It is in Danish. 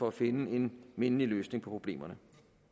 at finde en mindelig løsning på problemerne